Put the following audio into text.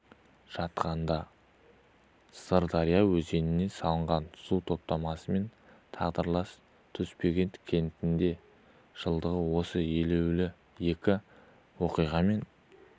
жатқанда сырдария өзеніне салынған су тоспасымен тағдырлас тасбөгет кентінің де жылдығы осы елеулі екі оқиғамен